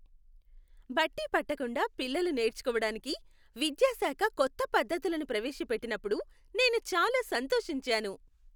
బట్టి పట్టకుండా పిల్లలు నేర్చుకోవడానికి విద్యా శాఖ కొత్త పద్ధతులను ప్రవేశ పెట్టినప్పుడు నేను చాలా సంతోషించాను.